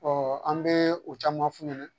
an bɛ o caman f'u ɲɛna